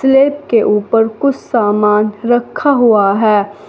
Slab के ऊपर कुछ सामान रखा हुआ है।